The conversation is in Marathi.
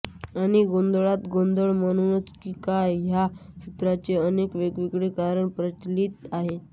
आणि गोंधळात गोंधळ म्हणूनच की काय ह्या सूत्रांचे अनेक वेगवेगळे प्रकार प्रचलित आहेत